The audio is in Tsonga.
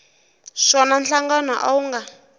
swona nhlangano a wu nga